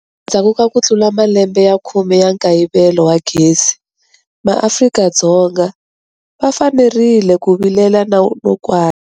Endzhaku ka ku tlula malembe ya khume ya nkayivelo wa gezi, maAfrika-Dzonga va fanerile ku vilela no kwata.